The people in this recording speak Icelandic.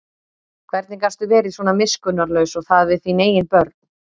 Hvernig gastu verið svona miskunnarlaus og það við þín eigin börn?